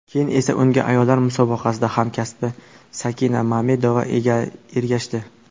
Keyin esa unga ayollar musobaqasida hamkasbi Sakina Mamedova ergashdi.